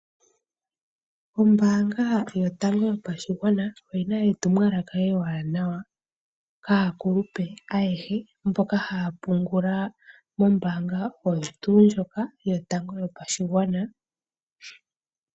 Ombaanga yotango yopashigwana oyina etumwalaka ewanawa kaakulupe ayehe mboka haya pungula mombaanga oyo tuu ndjoka yotango yopashigwana.